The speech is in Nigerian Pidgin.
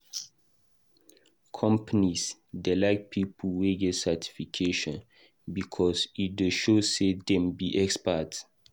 Companies dey like people wey get certification because e dey show say dem be experts.